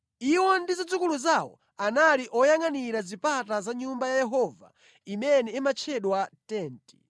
Iwo ndi zidzukulu zawo anali oyangʼanira zipata za nyumba ya Yehova imene imatchedwa Tenti.